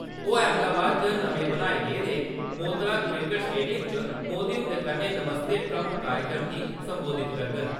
ओह् अहमदाबाद च नमें बनाए गेदे मोतरा क्रिकेट स्टेडियम च मोदी हुंदे कन्नै नमस्ते ट्रम्प कार्यक्रम गी सम्बोधत करङन।